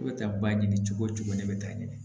E bɛ taa baɲini cogo cogo ne bɛ taa ɲini